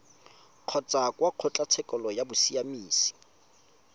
kgotsa kwa kgotlatshekelo ya bosiamisi